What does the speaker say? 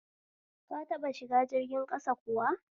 Ka taɓa shiga jirgin ƙasa kuwa?